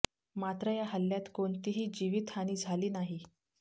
मात्र या हल्ल्यात कोणतीही जीवीत हानी झाली नाही